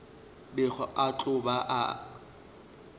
bego a tlo ba a